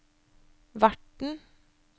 verten